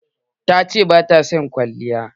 Ta ce bata son kwalliya.